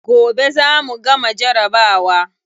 Gobe za mu gama jarabawa.